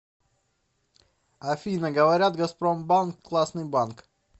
афина говорят газпромбанк классный банк